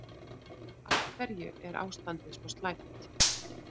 Af hverju er ástandið svo slæmt?